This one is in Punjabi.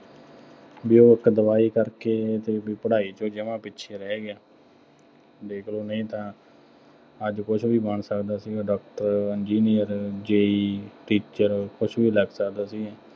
ਬਈ ਉਹ ਇੱਕ ਦਵਾਈ ਕਰਕੇ, ਦੇਖ ਲਉ ਪੜ੍ਹਾਈ ਤੋਂ ਜਮ੍ਹਾ ਪਿੱਛੇ ਰਹਿ ਗਿਆ, ਦੇਖ ਲਉ ਨਹੀਂ ਤਾਂ ਅੱਜ ਕੁੱਛ ਵੀ ਬਣ ਸਕਦਾ ਸੀਗਾ, ਡਾਕਟਰ, ਇੰਜੀਨੀਅਰ, JE teacher ਕੁੱਛ ਵੀ ਲੱਗ ਸਕਦਾ ਸੀ।